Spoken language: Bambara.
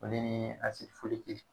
O le nii